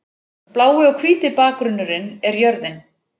Blái og hvíti bakgrunnurinn er jörðin.